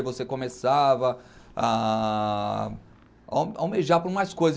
E você começava a almejar por mais coisas.